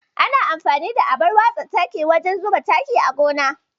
Ana amfani da abar watsa taki wajen zuba taki a gona.